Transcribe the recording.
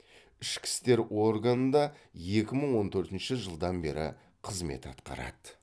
ішкі істер органында екі мың он төртінші жылдан бері қызмет атқарады